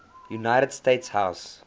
united states house